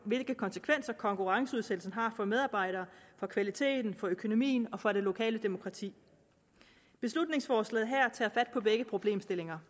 hvilke konsekvenser konkurrenceudsættelsen har for medarbejderne for kvaliteten for økonomien og for det lokale demokrati beslutningsforslaget her tager fat på begge problemstillinger